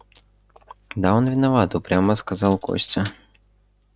да он виноват упрямо сказал костя